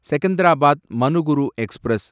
Secunderabad Manuguru express